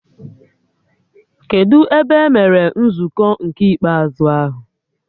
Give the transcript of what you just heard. Kedụ ebe emere nzukọ nke ikpeazụ ahụ?